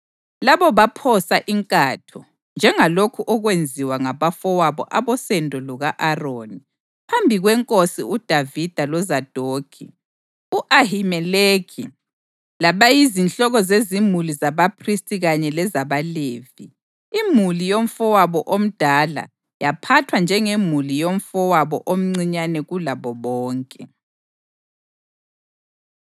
Labo baphosa inkatho, njengalokhu okwenziwa ngabafowabo abosendo luka-Aroni, phambi kweNkosi uDavida loZadokhi, u-Ahimeleki, labayizinhloko zezimuli zabaphristi kanye lezabaLevi. Imuli yomfowabo omdala yaphathwa njengemuli yomfowabo omncinyane kulabo bonke.